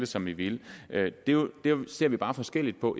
som vi ville det ser vi bare forskelligt på